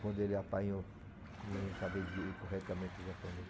Quando ele apanhou, não sabia de corretamente japonês.